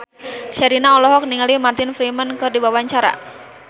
Sherina olohok ningali Martin Freeman keur diwawancara